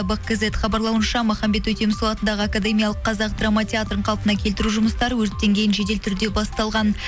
бак кизет хабарлауынша махамбет өтемісұлы атындағы академиялық қазақ драматеатрын қалпына келтіру жұмыстары өрттен кейін жедел түрде басталған